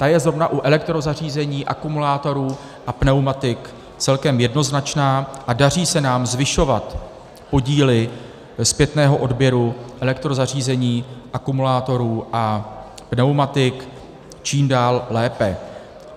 Ta je zrovna u elektrozařízení, akumulátorů a pneumatik celkem jednoznačná a daří se nám zvyšovat podíly zpětného odběru elektrozařízení, akumulátorů a pneumatik čím dál lépe.